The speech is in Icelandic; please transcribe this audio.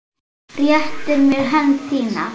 Réttir mér hönd þína.